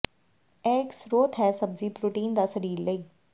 ਇਹ ਇੱਕ ਸਰੋਤ ਹੈ ਸਬਜ਼ੀ ਪ੍ਰੋਟੀਨ ਦਾ ਸਰੀਰ ਲਈ